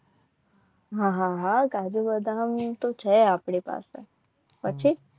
હા હા હા કાજુ બદામ તો છે આપણી પાસે પછી